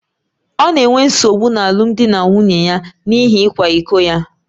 Ọ na-enwe nsogbu n’alụmdi na nwunye ya n’ihi ịkwa iko ya